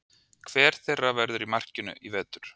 Hver þeirra verður í markinu í vetur?